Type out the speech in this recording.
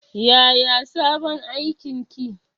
Yaya sabon aikin ki?